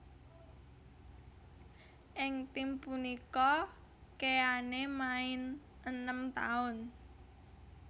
Ing tim punika Keane main enem taun